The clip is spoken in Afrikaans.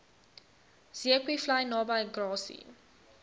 zeekoevlei naby grassy